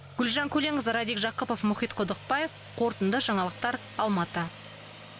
гүлжан көленқызы радик жақыпов мұхит құдықбаев қорытынды жаңалықтар алматы